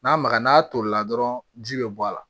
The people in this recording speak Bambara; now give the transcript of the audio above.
N'a magara n'a tolila dɔrɔn ji bɛ bɔ a la